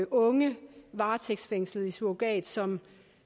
unge varetægtsfængslede i surrogat som